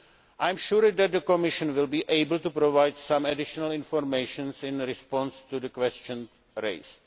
I am sure that the Commission will be able to provide some additional information in response to the questions raised.